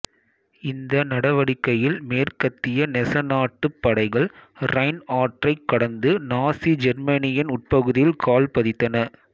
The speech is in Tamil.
இந்த நடவடிக்கையில் மேற்கத்திய நேசநாட்டுப் படைகள் ரைன் ஆற்றைக் கடந்து நாசி ஜெர்மனியின் உட்பகுதியில் கால் பதித்தன